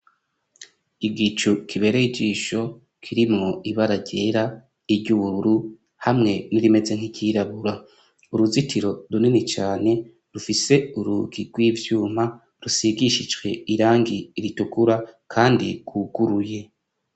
Igicu kibereye ijisho kirimwo ibara ryera n' iryubururu hamwe n'irimeze nk'iryirabura uruzitiro runini cane rufise urugi rw'ivyuma rusigishije irangi ritukura kandi gwuguruye.